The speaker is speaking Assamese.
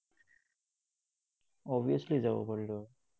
Obviously যাব পাৰিলে হয়।